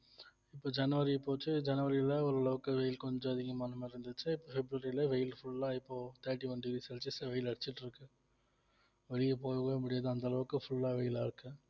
இப்ப ஜனவரி போச்சு ஜனவரியில ஒரு லோக்கல் கொஞ்சம் அதிகமான மாதிரி இருந்துச்சு பிப்ரவரில வெயில் full லா இப்போ thirty one degree celsius ல வெயில் அடிச்சிட்டு இருக்கு வெளிய போகவே முடியாது அந்த அளவுக்கு full ஆ வெயிலா இருக்கு